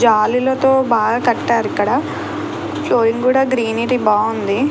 జాలీలతో బాగా కట్టారు ఇక్కడ ఫ్లోయింగ్ కూడా గ్రీనరి బాగుంది.